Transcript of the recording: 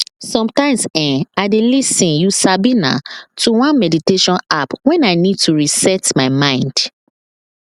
sometimes[um]i dey lis ten you sabi na to one meditation app when i need to reset my mind